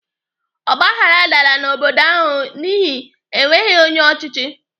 Ọgbaghrara dara n'obodo ahụ n'ihi enweghị onye ọchịchị.